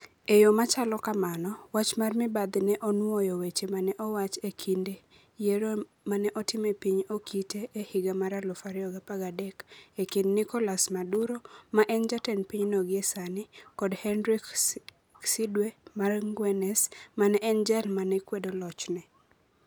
E yo ma chalo kamano, wach mar mibadhi ne onwoyo weche ma ne owach e kinde yiero ma ne otim e piny Okite e higa mar 2013 e kind Nicolás Maduro, ma e jatend pinyno gie sani, kod Henrique Cdwe mara ngwenes, ma ne en jal ma ne kwedo lochne: